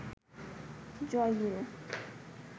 জয় গুরু